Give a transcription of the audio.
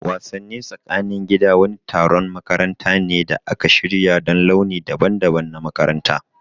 Wassani tsakanin gida wani taron makaranta ne da aka shirya don launi daban-daban na makaranta.